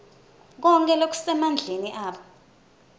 konkhe lokusemandleni abo